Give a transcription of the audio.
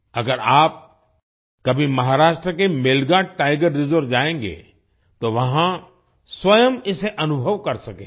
अगर आप कभी महाराष्ट्र के मेलघाट टाइगर रिजर्व जाएंगे तो वहाँ स्वयं इसे अनुभव कर सकेंगे